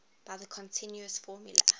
by the continuous formula